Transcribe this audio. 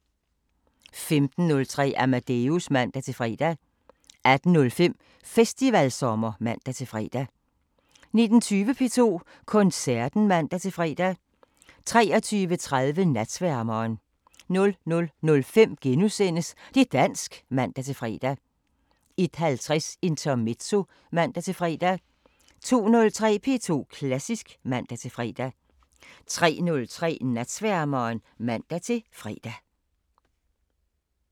15:03: Amadeus (man-fre) 18:05: Festivalsommer (man-fre) 19:20: P2 Koncerten (man-fre) 23:30: Natsværmeren 00:05: Det' dansk *(man-fre) 01:50: Intermezzo (man-fre) 02:03: P2 Klassisk (man-fre) 03:03: Natsværmeren (man-fre)